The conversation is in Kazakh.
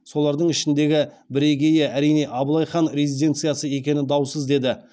солардың ішіндегі бірегейі әрине абылай хан резиденциясы екені даусыз деді